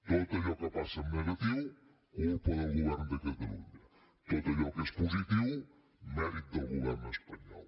tot allò que passa en negatiu culpa del govern de catalunya tot allò que és positiu mèrit del govern espanyol